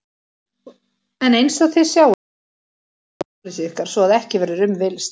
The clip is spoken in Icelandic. En einsog þið sjáið þá sanna myndirnar sakleysi ykkar svo að ekki verður um villst.